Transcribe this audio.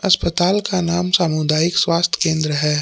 अस्पताल का नाम सामुदायिक स्वास्थ्य केंद्र है।